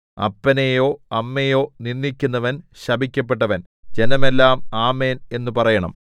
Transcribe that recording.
അപ്പനെയോ അമ്മയെയോ നിന്ദിക്കുന്നവൻ ശപിക്കപ്പെട്ടവൻ ജനമെല്ലാം ആമേൻ എന്നു പറയേണം